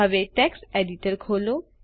હવે text editor ખોલો